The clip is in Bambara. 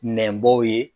Nɛnbɔw ye